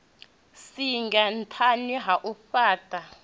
singa nṱhani ha u fhaṱha